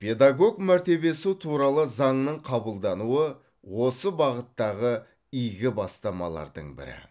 педагог мәртебесі туралы заңның қабылдануы осы бағыттағы игі бастамалардың бірі